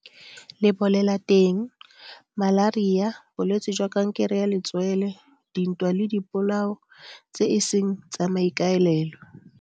Lebolelateng, malaria, bolwetse jwa kankere ya letswele, dintwa le dipolao tse e seng tsa maikaelelo.